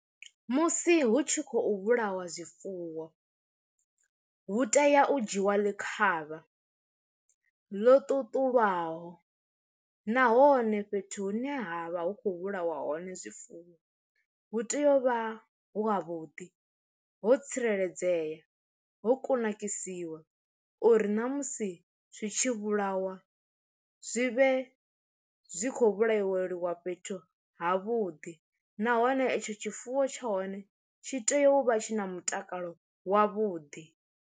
Musi hu tshi khou vhulawa zwifuwo, hu tea u dzhiwa ḽi khavha ḽo ṱuṱulwaho nahone fhethu hu ne ha vha hu khou vhulawa hone zwifuwo hu tea u vha wavhuḓi ho tsireledzea ho kunakisiwa uri ṋamusi zwi tshi vhulawa zwi vhe zwi khou vhulaiwa fhethu ha vhuḓi nahone etsho tshifuwo tsha hone tshi tea u vha tshi na mutakalo wavhuḓi.